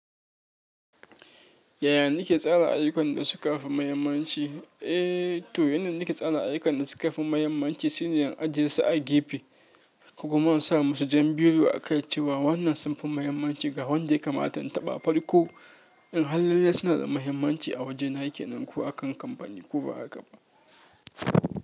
Yaya nake tsara ayukan da suka fi muhimmanci? Eh, to yanayin da nake tsara ayukan da suka fi muhimmanci shine in ajiye su a gefe, ko kuma in sa musu jan biro a kai cewa wannan sun fi muhimmanci ga wanda ya kamata in taɓa. Far ko in har lalle suna da muhimmanci a wajena kenan ko akan kamfani ko bahakaba.